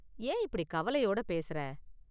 ஏன் இப்படி கவலயோட பேசறே?